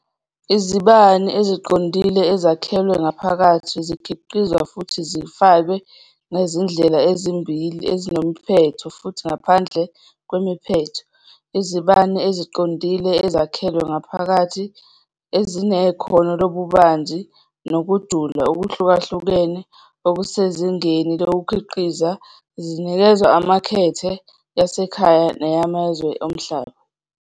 Izibani eziqondile ezakhelwe ngaphakathi zikhiqizwa futhi zifakwe ngezindlela ezimbili ezinemiphetho futhi ngaphandle kwemiphetho, izibani eziqondile ezakhelwe ngaphakathi ezinekhono lobubanzi nokujula okuhlukahlukene okusezingeni lokukhiqiza zinikezwa emakethe yasekhaya neyamazwe omhlaba.